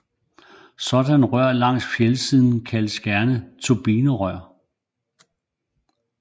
Sådanne rør langs fjeldsiden kaldes gerne turbinerør